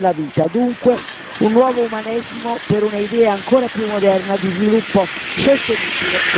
Dunque un nuovo umanesimo per un'idea ancora più moderna di sviluppo sostenibile e inclusivo.